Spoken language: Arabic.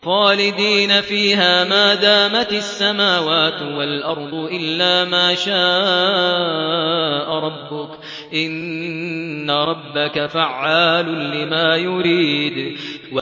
خَالِدِينَ فِيهَا مَا دَامَتِ السَّمَاوَاتُ وَالْأَرْضُ إِلَّا مَا شَاءَ رَبُّكَ ۚ إِنَّ رَبَّكَ فَعَّالٌ لِّمَا يُرِيدُ